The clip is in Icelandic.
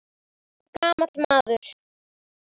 Hann er gamall maður.